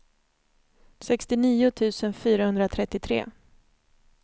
sextionio tusen fyrahundratrettiotre